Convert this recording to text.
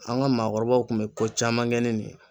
An ŋa maakɔrɔbaw kun be ko caman kɛ ni nin ye.